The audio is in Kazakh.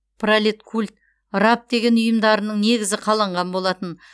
пролеткуль раб деген ұйымдарының негізі қаланған болатын